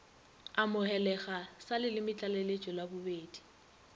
amogelega sa lelemetlaleletšo la bobedi